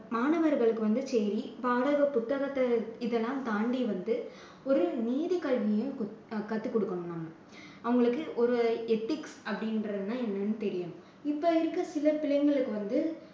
மாணவர்களுக்கு வந்து சரி பாட புத்தகத்தை இதெல்லாம் தாண்டி வந்து ஒரு நீதி கல்வியும் கத்துக் கொடுக்கணும் நம்ம. அவங்களுக்கு ஒரு ethics அப்படின்றதுன்னா என்னன்னு தெரியணும். இப்போ இருக்கிற சில பிள்ளைங்களுக்கு வந்து